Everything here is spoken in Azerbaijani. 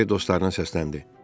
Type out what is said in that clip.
Kiber dostlarına səsləndi.